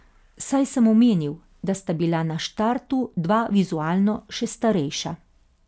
Saj sem omenil, da sta bila na štartu dva vizualno še starejša.